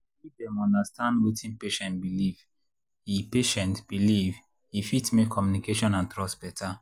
if dem understand wetin patient believe e patient believe e fit make communication and trust better.